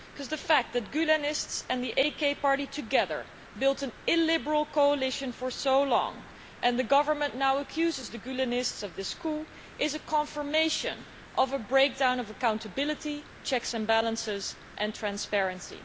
The fact that Gülenists and the AK Party together built an illiberal coalition for so long and the Government now accuses the Gülenists of this coup is a confirmation of a breakdown of accountability, checks and balances and transparency.